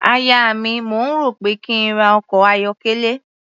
Aya mi, mò ń rò ó pé kí n ra ọkọ̀ ayọ́kẹ́lẹ́.